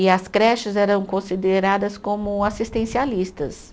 E as creches eram consideradas como assistencialistas.